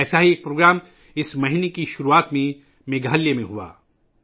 ایسا ہی ایک پروگرام اس ماہ کے شروع میں میگھالیہ میں منعقد ہوا